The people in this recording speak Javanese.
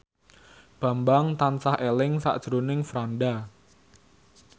Bambang tansah eling sakjroning Franda